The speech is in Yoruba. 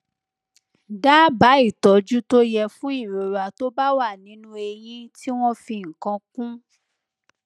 dábàá ìtọjú tó yẹ fún ìrora tó bá wà nínú eyín tí wọn fi nǹkan kún